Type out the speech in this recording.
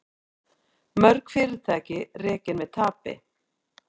Mörg fyrirtæki rekin með tapi